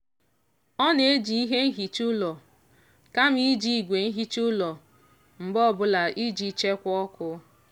ọ na-eji ihe nhicha ụlọ kama iji igwe nhicha ụlọ mgbe ọbụla iji chekwaa ọkụ.